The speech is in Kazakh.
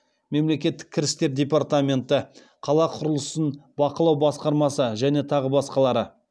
мемлекеттік кірістер департаменті қала құрылысын бақылау басқармасы және тағы басқалары